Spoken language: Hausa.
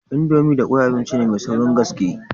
Indomie da kwai abinci ne mai saurin gaske.